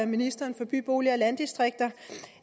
ministeren for by bolig og landdistrikter